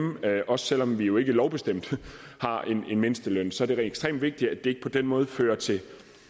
også selv om vi jo ikke lovbestemt har en mindsteløn så det er ekstremt vigtigt at det ikke på den måde fører til